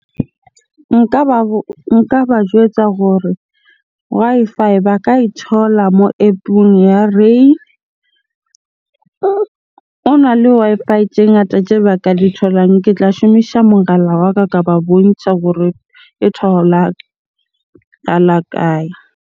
Nka ba nka ba jwetsa gore Wi-Fi ba ka e thola moo App-ong ya rain. Hona le Wi-Fi tje ngata tje baka di tholang. Ke tla shumisa mogala wa ka, ka ba bontsha gore e tholahala kae?